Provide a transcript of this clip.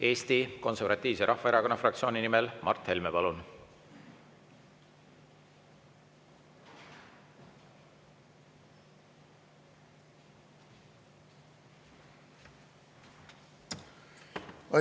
Eesti Konservatiivse Rahvaerakonna fraktsiooni nimel Mart Helme, palun!